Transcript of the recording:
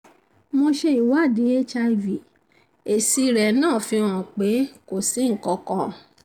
mo ṣe ìwádìí hiv èsì rẹ̀ náà fi hàn pé kò si nkankan